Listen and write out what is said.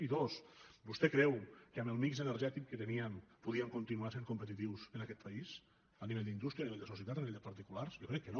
i dos vostè creu que amb el mix energètic que teníem podíem continuar sent competitius en aquest país a nivell d’indústria a nivell de societat a nivell de particulars jo crec que no